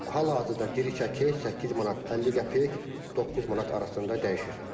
Hal-hazırda diri çəki 8 manat 50 qəpik, 9 manat arasında dəyişir.